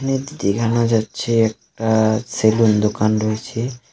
দেখানো যাচ্ছে একটা সেলুন দোকান রয়েছে।